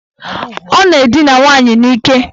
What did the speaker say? Ọ na-edina nwaanyị n'ike.